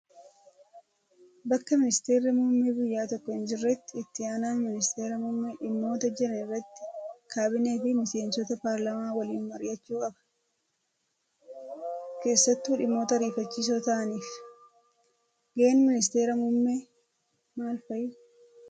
Bakka ministeerri muummee biyya tokkoo hin jirretti itti aanaan ministeera muummee dhimmoota jiran irratti kaabinee fi miseensota paarlaamaa waliin mari'achuu qaba. Keessattuu dhimmoota ariifachiisoo ta'aniif. Gaheen ministeera muummee maal fa'ii?